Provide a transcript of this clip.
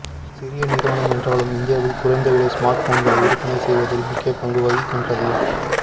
சிறிய நிறுவனம் என்றாலும் இந்தியாவில் குறைந்த விலை ஸ்மார்ட் போன்களை விற்பனை செய்வதில் முக்கிய பங்கு வகிக்கின்றது